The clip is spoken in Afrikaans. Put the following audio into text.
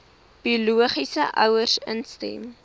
biologiese ouers instem